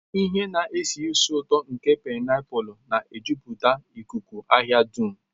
Ihe na-esi ísì ụtọ nke painapulu na-ejupụta ikuku ahịa dum.